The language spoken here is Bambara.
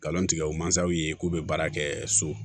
Kalan tigɛ o mansaw ye k'u bɛ baara kɛ so